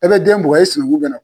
E b'e den bugɔ e sigi